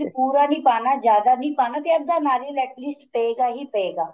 ਪੂਰਾ ਨੀਂ ਪਾਣਾ ਜਿਆਦਾ ਨੀਂ ਪਾਣਾ ਤੇ ਅੱਧਾ ਨਾਰੀਅਲ at least ਪੈ ਗਾ ਹੀ ਪੈ ਗਾ